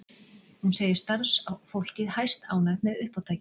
Hún segir starfsfólkið hæstánægt með uppátækið